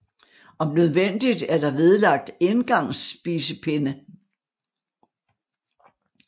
Om nødvendigt er der vedlagt engangs spisepinde